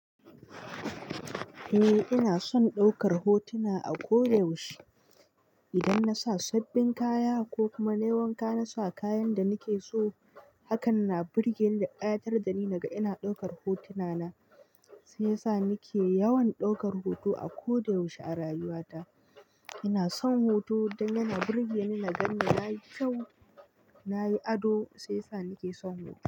Eh ina son daukar hotuna a ko da yaushe. Idan na sa sabbin kaya ko kuma na yi wanka na sa kayan da nake so. Hakan na burge da ƙayatar da ni naga ina daukar hotuna na. Shi ya sa nake yawan daukar hoto a ko da yaushe a rayuwa ta. Ina son hoto don yana burge ni na ganni na yi kyau, na yi ado shi ya sa nake son hoto.